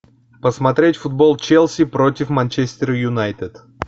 посмотреть футбол челси против манчестер юнайтед